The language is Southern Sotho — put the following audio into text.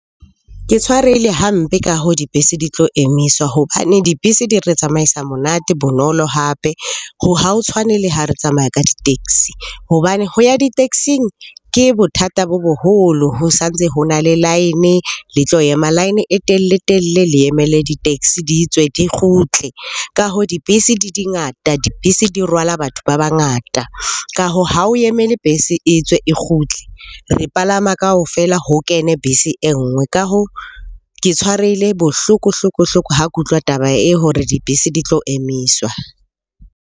Ke tshwarehile hampe ka hoo dibese di tlo emiswa hobane dibese di re tsamaisa monate, bonolo hape. Ha o tshwane le ha re tsamaya ka di-taxi hobane ho ya di-taxing ke bothata bo boholo. Ho santse ho na le line, le tlo ema line e telle-telle le emele di-taxi di tswe, di kgutle. Ka hoo dibese di ngata, dibese di rwala batho ba bangata. Ka hoo, ha o emele bese e tswe e kgutle. Re palama kaofela ho kene bese e nngwe. Ka hoo, ke tshwarehile bohloko hloko-hloko ha ke utlwa taba e hore dibese di tlo emiswa.